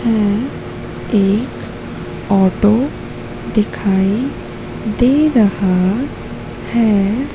ये एक ऑटो दिखाई दे रहा है।